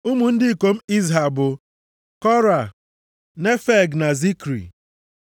Ụmụ ndị ikom Izha bụ Kora, Nefeg na Zikri.